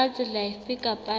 ka tsela efe kapa efe